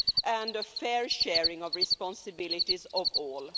and a fair sharing of responsibilities for all.